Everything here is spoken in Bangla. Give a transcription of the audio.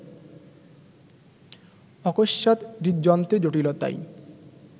অকস্মাৎ হৃদযন্ত্রের জটিলতায়